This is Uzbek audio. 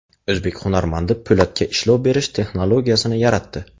O‘zbek hunarmandi po‘latga ishlov berish texnologiyasini yaratdi.